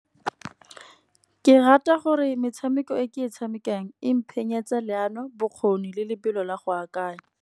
Ke rata gore metshameko e ke e tshamekang leano bokgoni le lebelo la go akanya.